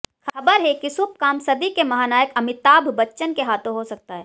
खबर है कि शुभ काम सदी के महानायक अमिताभ बच्चन के हाथों हो सकता है